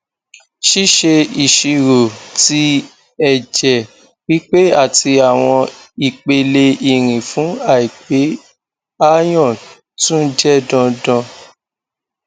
ṣiṣe iṣiro ti ẹjẹ pipe ati awọn ipele irin fun aipe iron tun jẹ dandan